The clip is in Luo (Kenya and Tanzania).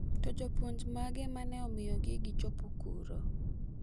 To jopuonj mage mane omiyo gi chopo kuro?